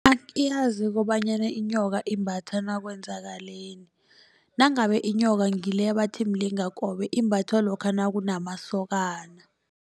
Angiyazi kobanyana inyoka imbathwa nakwenzakaleni. Nangabe inyoka ngileya bathi mlingakobe imbathwa lokha nakumasokana.